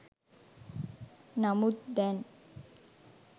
නමුත් දැන්